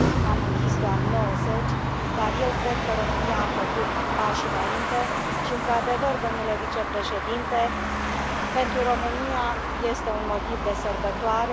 Am închis doar nouăzeci, dar eu cred că România a făcut pași înainte și, într adevăr, domnule vicepreședinte, pentru România este un motiv de sărbătoare.